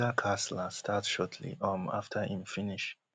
da kasla start shortly um afta im finish